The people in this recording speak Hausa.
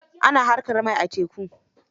Ana haƙar mai a teku.